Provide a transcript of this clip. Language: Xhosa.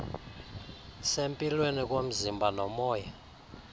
sempilweni komzimba nomoya